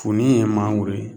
Funin ye mangoro ye